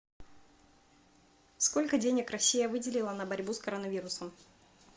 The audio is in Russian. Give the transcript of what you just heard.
сколько денег россия выделила на борьбу с коронавирусом